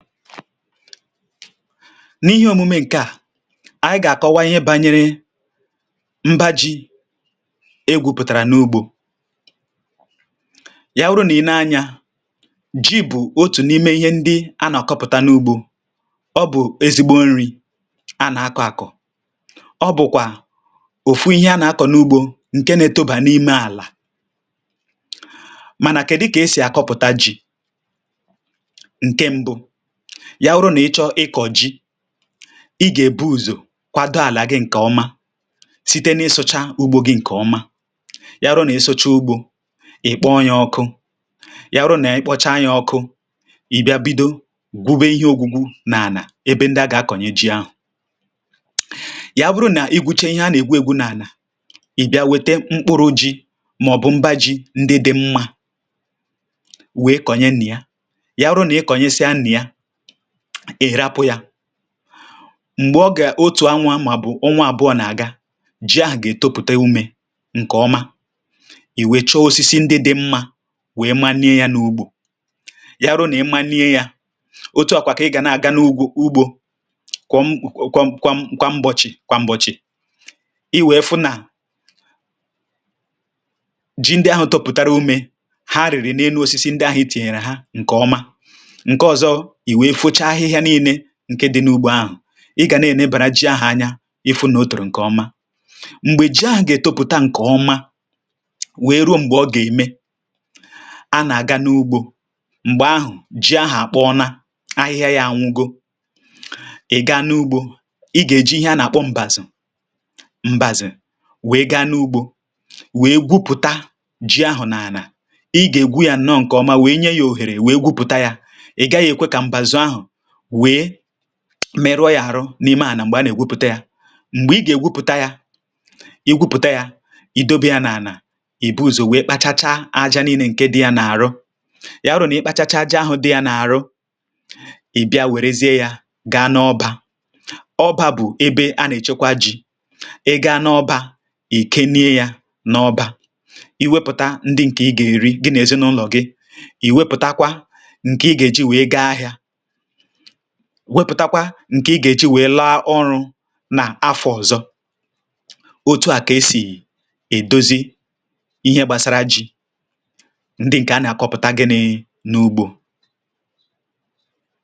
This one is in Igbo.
N’ihe omume ǹke à ànyị ga-àkọwa ihe bànyere mba ji egwupụ̀tàrà n’ugbȯ, ya wuru nà i nee anyȧ ji bụ̀ otù n’ime ihe ndị a nà-àkọpụ̀ta n’ugbȯ ọ bụ̀ ezigbo nri a nà-akọ̇ àkọ̀, ọ bụ̀kwà òfu ihe a nà-akọ̀ n’ugbȯ ǹke na-etobà n’ime àlà. Mànà kèdụ kà esì àkọpụ̀ta jì, nkè mbụ ya wụrụ nà ị chọ ịkọ̀ ji ị gà-èbu ùzò kwado àlà gị̇ ǹkè ọma site n’ịsụ̇chȧ ugbȯ gị̇ ǹkè ọma, ya wụrụ nà ị sụchaa ugbȯ ị̀ kpọọ ya ọkụ ya wụrụ nà ị kpọcha ya ọkụ ì bịa bido gwube ihe ogugwu nà-ànà ebe ndị a gà-akọ̀nye ji ahụ̀, ya bụrụ nà i gwuche ihe a nà-ègwu ègwu nà-ànà ì bịa wete mkpụrụ ji mà ọ̀ bụ̀ mba ji ndị dị mmȧ wèe kọ̀nye nnà ya, ya wụrụ̇ nà i kọ̀nyẹsẹ a nà ya ị rapụ ya m̀gbè ọ gà-otù anwụ̇ a mà bụ̀ ọnwa àbụọ nà-àga ji ahụ̀ gà-ètopụ̀ta umė ǹkè ọma iwè chọọ osisi ndị dị mmȧ wèe ma nye yȧ n’ugbȯ, ya wụrụ nà ị ma nye yȧ otu ọ̀kwà kà ị gà na-àga n’ugwȯ ugbȯ kwọm kwọm kwọm kwam mgbọchị̀ kwam mgbọchị̀ i wèe fụ nà ji ndị ahụ tọputara ume ha riri na-enu osisi ndị ahụ ịtinyere ha nke ọma, nke ọzọ iwe fụcha ahịhịa nille ǹke dị n’ugbo ahụ̀ ị gà nà-ènebàra jị ahụ̀ anya ị fụ nà o tòrò ǹkè ọma. m̀gbè ji ahụ̀ gà-ètopụta ǹkè ọma wèe ruo m̀gbè ọ gà-ème a nà-àga n’ugbȯ m̀gbè ahụ̀ ji ahụ̀ àkpọ ọna ahịhịa yȧ anwụgo ị̀ ga n’ugbȯ ị gà-èji ihe a nà-àkpọ m̀bàzì m̀bàzì wèe gaa n’ugbȯ wèe gwupùta ji ahụ̀ n’ànà, ị gà-ègwu yȧ nọ ǹkè ọma wèe nye yȧ òhèrè wèe gwupùta yȧ, ị gaghị ekwe ka mbazu ahụ wee merụọ yȧ àrụ n’ime ànà m̀gbè a nà-èwupùta yȧ m̀gbè ị gà-èwupùta yȧ i gwupùta yȧ i dobe ya n’ànà ì buzò wee kpachacha aja nii̇nė ǹke dị yȧ n’àrụ yà hụrụ nà ị kpachacha aja ahụ̇ dị yȧ n’àrụ i bịa wèrezie yȧ gaa n’ọbȧ, ọbȧ bụ̀ ebe a nà-èchekwa jì ị gȧ n’ọbȧ ị̀ kenye yȧ n’ọbȧ i wepụ̀ta ndị ǹkè ị gà-èri gị nà èzinụlọ̀ gị, ì wepụ̀takwa ǹkè ị gà-èji wee gaa ahịȧ, wepụtakwa ǹke ị gà-èji wèe laa ọrụ̇ nà-afọ̀ ọzọ. Otu à kà esì èdozi ihe gbàsara ji̇ ndị ǹkè a nà-àkọpụ̀ta gịnị̇ n’ugbȯ.